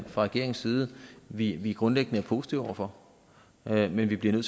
fra regeringens side at vi er grundlæggende positive over for men at vi bliver nødt